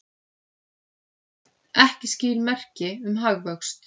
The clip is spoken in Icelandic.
Ekki skýr merki um hagvöxt